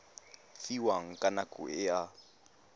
fiwang ka nako e a